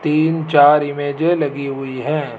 तीन चार इमेजे लगी हुई हैं।